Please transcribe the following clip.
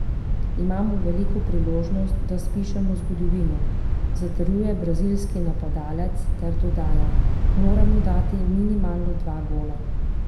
Imamo veliko priložnost, da spišemo zgodovino,' zatrjuje brazilski napadalec ter dodaja: 'Moramo dati minimalno dva gola.